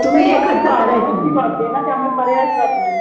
त्यामुळे पर्यायच राहत नाही